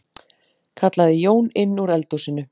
kallaði Jón inn úr eldhúsinu.